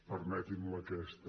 permeti’m aquesta